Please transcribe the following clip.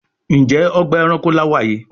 Njé Ọgbà ẹranko là wá yí?